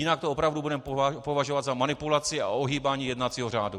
Jinak to opravdu budeme považovat za manipulaci a ohýbání jednacího řádu.